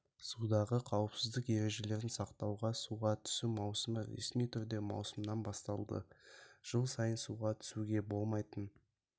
судағы қауіпсіздік ережелерін сақтау суға түсу маусымы ресми түрде маусымнан басталды жыл сайын суға түсуге болмайтын